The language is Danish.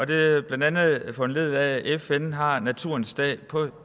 det er blandt andet foranlediget af at fn har naturens dag på